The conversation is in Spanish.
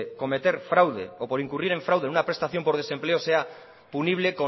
cometer fraude o por incurrir en fraude en una prestación por desempleo sea punible